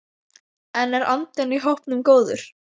En er andinn í hópnum góður?